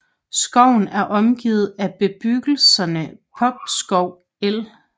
Skoven er omgivet af bebyggelserne Popskov el